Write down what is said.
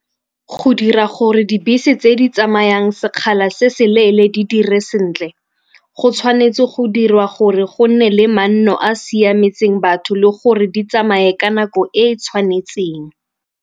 Go dira gore dibese tse di tsamayang sekgala se se leele di dire sentle, go tshwanetse go dirwa gore go nne le manno a siametseng batho le gore di tsamaye ka nako e e tshwanetseng.